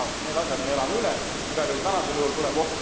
Aga need asjad me elame üle, igal juhul tänasel juhul tuleb